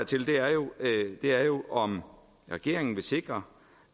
til her er jo om regeringen vil sikre